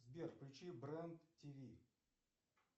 сбер включи бренд ти ви